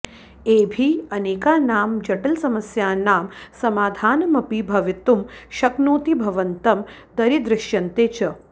एभिः अनेकानां जटिलसमस्यानां समाधानमपि भवितुं शक्नोति भवन्तं दरीदृश्यन्ते च